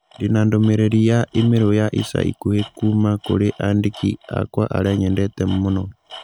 Ndĩ na ndũmĩrĩri ya i-mīrū ya ica ikuhĩ kuuma kũrĩ andĩki akwa arĩa nyendete mũno